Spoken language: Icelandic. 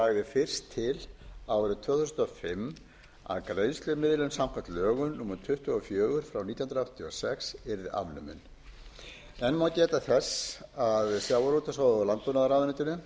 fyrst til árið tvö þúsund og fimm að greiðslumiðlun samkvæmt lögum númer tuttugu og fjögur nítján hundruð áttatíu og sex yrði afnumin enn má geta þess að sjávarútvegs og